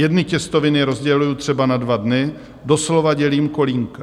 Jedny těstoviny rozděluji třeba na dva dny, doslova dělím kolínka.